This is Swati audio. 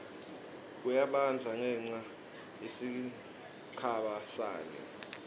kuyabandza ngenca yesikibha sani